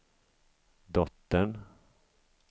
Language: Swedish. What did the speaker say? dottern